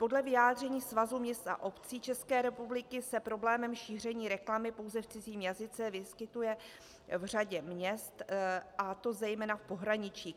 Podle vyjádření Svazu měst a obcí České republiky se problém šíření reklamy pouze v cizím jazyce vyskytuje v řadě měst, a to zejména v pohraničí.